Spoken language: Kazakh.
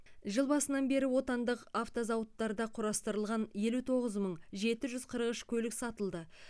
жыл басынан бері отандық автозауыттарда құрастырылған елу тоғыз мың жеті жүз қырық үш көлік сатылды